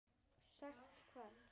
Sagt hvað?